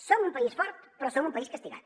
som un país fort però som un país castigat